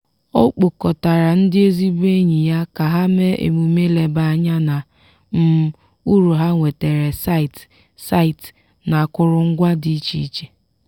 ọ kpọkọtara ndị ezigbo enyi ya ka ha mee emume leba anya na um uru ha nwetara site site n’akụrụngwa dị iche iche.